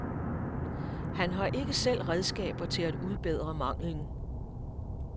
Han har ikke selv redskaber til at udbedre manglen.